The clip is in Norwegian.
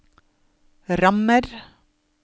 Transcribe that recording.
rammer